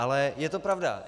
Ale je to pravda.